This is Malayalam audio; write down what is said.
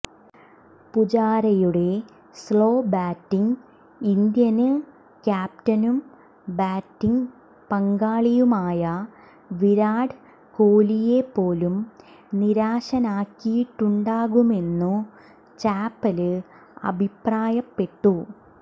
പുജാരയുടെ സ്ലോ ബാറ്റിങ് ഇന്ത്യന് ക്യാപ്റ്റനും ബാറ്റിങ് പങ്കാളിയുമായ വിരാട് കോലിയെപ്പോലും നിരാശനാക്കിയിട്ടുണ്ടാവുമെന്നു ചാപ്പല് അഭിപ്രായപ്പെട്ടു